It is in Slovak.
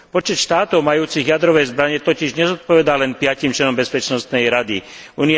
Počet štátov majúcich jadrové zbrane totiž nezodpovedá len piatim členom Bezpečnostnej rady OSN.